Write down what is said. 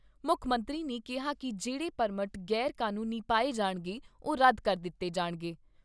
ਮੁੱਖ ਮੰਤਰੀ ਨੇ ਕਿਹਾ ਕਿ ਜਿਹੜੇ ਪਰਮਟ ਗ਼ੈਰ ਕਾਨੂੰਨੀ ਪਾਏ ਜਾਣਗੇ, ਉਹ ਰੱਦ ਕਰ ਦਿੱਤੇ ਜਾਣਗੇ।